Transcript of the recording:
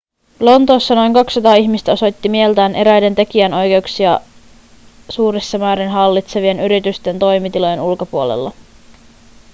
lontoossa noin 200 ihmistä osoitti mieltään eräiden tekijänoikeuksia suurissa määrin hallitsevien yritysten toimitilojen ulkopuolella